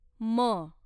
म